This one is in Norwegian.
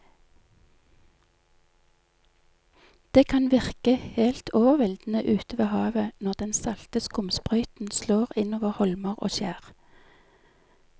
Det kan virke helt overveldende ute ved havet når den salte skumsprøyten slår innover holmer og skjær.